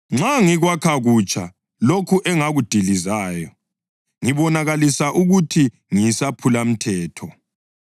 Nxa ngikwakha kutsha lokho engakudilizayo, ngibonakalisa ukuthi ngiyisaphulamthetho.